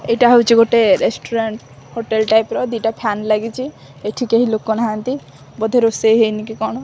ଏଇଟା ହୋଉଚି ଗୋଟେ ରେଷ୍ଟୁରାଣ୍ଟ୍ ହୋଟେଲ୍ ଟାଇପ୍ ର ଦିଟା ଫ୍ଯାନ୍ ଲାଗିଚି ଏଠି କେହି ଲୋକ ନାହାନ୍ତି ବୋଧେ ରୋଷେଇ ହେଇନି କି କଣ।